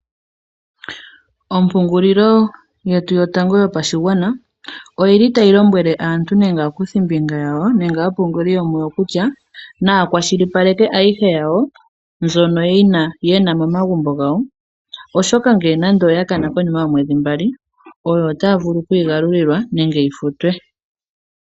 Ompungulilo yetu yotango yopashigwana oyili tayi lombwele aantu yawo nenge aakuthimbinga yawo nenge aapunguli yomuyo kutya naya kwashilipaleke ayihe yawo, mbyono yena momagumbo gawo oshoka ngele nando oya kana okonima yomweedhi mbali oyo otaya vulu okuyi galulilwa nenge yi futwe.